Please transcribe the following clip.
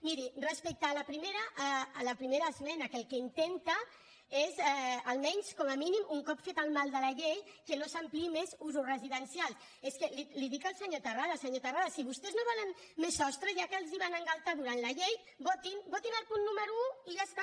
miri respecte a la primera esmena que el que intenta és almenys com a mínim un cop fet el mal de la llei que no s’ampliï més usos residencials és que li ho dic al senyor terrades senyor terrades si vostès no volen més sostre ja que els hi van engaltar durant la llei vo·tin votin el punt número un i ja està